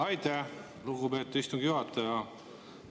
Aitäh, lugupeetud istungi juhataja!